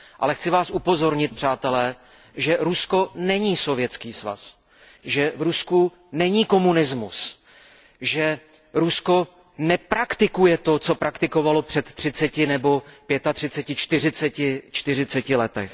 Ale chci vás upozornit, přátelé, že Rusko není Sovětský svaz, že v Rusku není komunismus, že Rusko nepraktikuje to, co praktikovalo před třiceti, pětatřiceti nebo čtyřiceti lety.